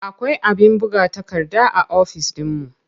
Akwai abin buga takarda a ofis ɗinmu.